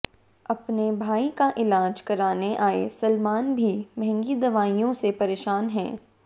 अपने भाई का इलाज कराने आए सलमान भी महंगी दवाओं से परेशान हैं